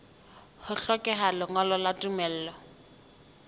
ho hlokeha lengolo la tumello